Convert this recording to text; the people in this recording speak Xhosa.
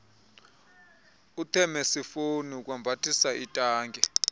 ithemosifoni ukwambathisa itanki